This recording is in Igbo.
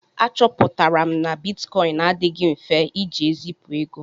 Achọpụtara m na bitkọịn adịghị mfe iji ezipu ego.